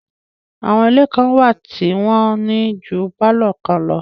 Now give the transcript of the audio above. Àwọn ilé kan wà tí wọ́n ní ju pálọ̀ kan lọ